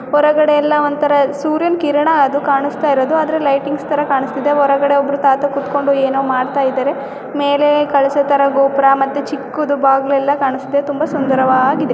ಹೊರಗಡೆಯೆಲ್ಲ ಸೂರ್ಯನ ಕಿರಣ ಅದು ಕಾಣಸ್ತಾಯಿರದು ಆದ್ರೆ ಲೈಟಿನ್ಸ್ ತರ ಕಾಣಿಸ್ತಾಯಿದೆ. ಹೊರಗಡೆ ಒಬ್ರು ತಾತಾ ಕೂತ್ಕೊಂಡು ಏನೋ ಮಾಡ್ತಾಯಿದಾರೆ. ಮೇಲೆ ಕಳಸ ತರ ಗೋಪುರ ಒಂದು ಚಿಕ್ಕ ಬಾಗಿಲು ಕಾಣಿಸುತ್ತದೆ ನೋಡಲು ತುಂಬಾ ಸುಂದರವಾಗಿದೆ.